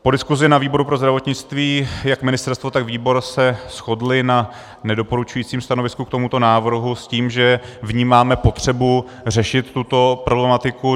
Po diskusi ve výboru pro zdravotnictví jak ministerstvo, tak výbor se shodly na nedoporučujícím stanovisku k tomuto návrhu s tím, že vnímáme potřebu řešit tuto problematiku.